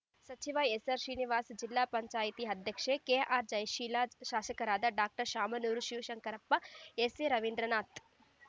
ಸಚಿವ ಎಸ್‌ಆರ್‌ಶ್ರೀನಿವಾಸ ಜಿಲ್ಲಾ ಪಂಚಾಯತಿ ಅಧ್ಯಕ್ಷೆ ಕೆಆರ್‌ಜಯಶೀಲ ಶಾಸಕರಾದ ಡಾಕ್ಟರ್ ಶಾಮನೂರು ಶಿವಶಂಕರಪ್ಪ ಎಸ್‌ಎ ರವೀಂದ್ರನಾಥ್‌